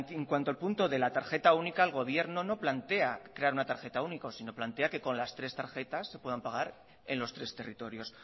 en cuanto al punto de la tarjeta única el gobierno no plantea crear una tarjeta única sino plantea que con las tres tarjetas se puedan pagar en los tres territorios